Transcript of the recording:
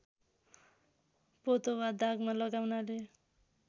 पोतो वा दागमा लगाउनाले